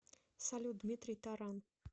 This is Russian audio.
салют дмитрий таран